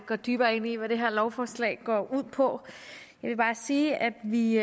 går dybere ind i hvad det her lovforslag går ud på jeg vil bare sige at vi